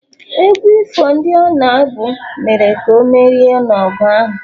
egwu ifo ndị ọ na-abụ mere ka o merie n’ọgụ ahụ